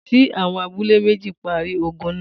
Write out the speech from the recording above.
T.Awon abule meji pari ogun naa